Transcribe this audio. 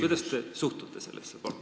Kuidas te sellesse suhtute?